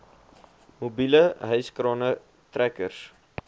mobiele hyskrane trekkers